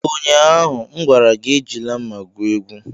Ụnyaahụ m gwara gị, Ejila mma gwu egwu!